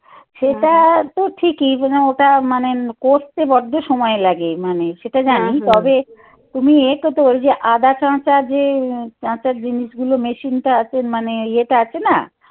সেটা তো ঠিকই মানে ওটা মানে করতে বড্ড সময় লাগে মানে সেটা জানি তবে তুমি এটা করতে পারো যে আদা চাঁচা যে চাঁচা জিনিসগুলো machine টা আছে মানে ইয়েটা আছে না.